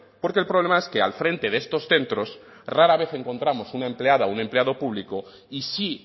porque el problema es que al frente de estos centros rara vez encontramos una empleada o un empleado pública y sí